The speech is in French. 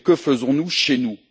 Que faisons nous chez nous?